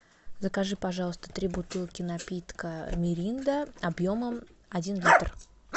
закажи пожалуйста три бутылки напитка миринда объемом один литр